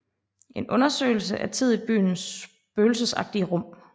En undersøgelse af tid i byens spøgelsesagtige rum